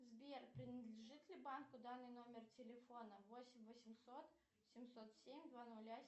сбер принадлежит ли банку данный номер телефона восемь восемьсот семьсот семь два нуля